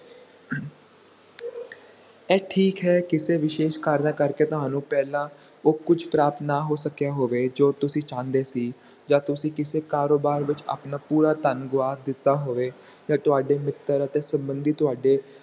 ਇਹ ਠੀਕ ਹੈ ਕੀਤੇ ਵਿਸ਼ੇਸ਼ ਕਾਰਨਾਂ ਕਰਕੇ ਤੁਹਾਨੂੰ ਪਹਿਲਾਂ ਉਹ ਕੁਛ ਪ੍ਰਾਪਤ ਨਾ ਹੋ ਸਕਿਆ ਹੋਵੇ ਜੋ ਤੁਸੀਂ ਚਾਹੰਦੇ ਸੀ ਆ ਤੁਸੀਂ ਕੀਤੇ ਕਾਰੋਬਾਰ ਵਿਚ ਆਪਣਾ ਪੂਰਾ ਧਨ ਗਵਾਚ ਦਿੱਤਾ ਹੋਵੇ ਆ ਤੁਹਾਡੇ ਮਿੱਤਰ ਅਤੇ ਸੰਬੰਧੀ ਤੁਹਾਡੇ